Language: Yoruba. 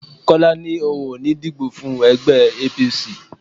Kọ́lá ní òun ò ní díbó fún ẹgbẹ́ APC.